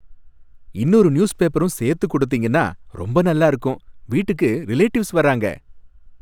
இன்னொரு நியூஸ்பேப்பரும் சேர்த்து கொடுத்தீங்கன்னா ரொம்ப நல்லா இருக்கும், வீட்டுக்கு ரிலேடிவ்ஸ் வராங்க.